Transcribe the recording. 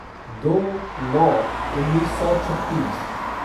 दो नौ उन्नीस सौ छत्तीस